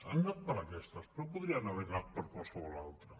han anat per aquestes però podrien haver anat per a qualsevol altra